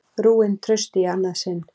Rúin trausti í annað sinn.